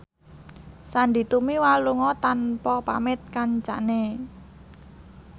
Sandy Tumiwa lunga tanpa pamit kancane